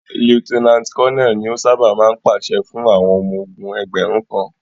Lieutenant Colonel ni o ṣábà máa ń pàṣẹ fún àwọn ọmọ ogún ẹgbẹ̀rún kan.